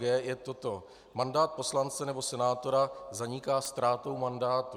g) je toto: Mandát poslance nebo senátora zaniká ztrátou mandátu.